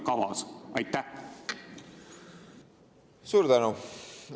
Suur tänu!